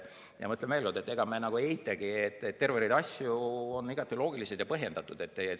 Ma ütlen veel kord, et ega me ei eitagi, et terve rida asju on igati loogilised ja põhjendatud.